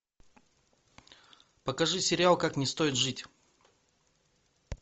покажи сериал как не стоит жить